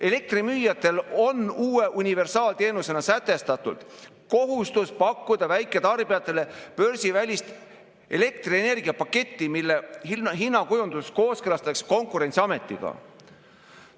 Elektrimüüjatel on uue universaalteenusena sätestatud kohustus pakkuda väiketarbijatele börsivälist elektrienergia paketti, mille hinnakujundus kooskõlastatakse Konkurentsiametiga.